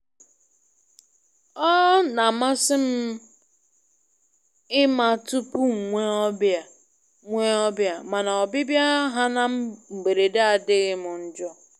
Ọ na-amasị m ịma tupu m nwee ọbịa, nwee ọbịa, mana ọbịbịa ha na mberede adịghị m njọ.